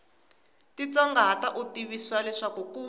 titsongahata u tivisiwa leswaku ku